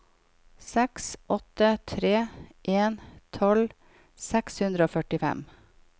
seks åtte tre en tolv seks hundre og førtifem